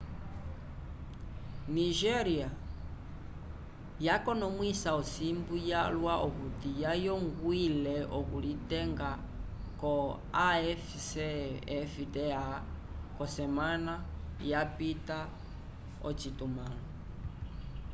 nigéria yakonomwisa osimbu yalwa okuti yayongwile okulitenga ko afcfta k'osemana yapita ocitumãlo